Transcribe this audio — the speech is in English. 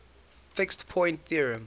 fixed point theorem